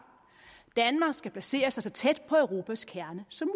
danmark skal placere sig så tæt på europas kerne som